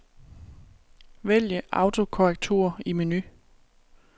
Vælg autokorrektur i menu.